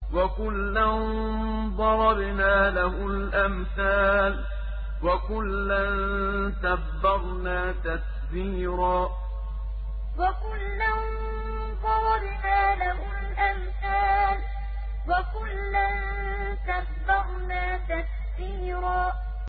وَكُلًّا ضَرَبْنَا لَهُ الْأَمْثَالَ ۖ وَكُلًّا تَبَّرْنَا تَتْبِيرًا وَكُلًّا ضَرَبْنَا لَهُ الْأَمْثَالَ ۖ وَكُلًّا تَبَّرْنَا تَتْبِيرًا